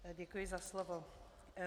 Děkuji za slovo.